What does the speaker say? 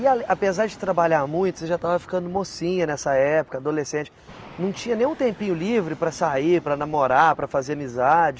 E ali, apesar de trabalhar muito, você já estava ficando mocinha nessa época, adolescente, não tinha nem um tempinho livre para sair, para namorar, para fazer amizade?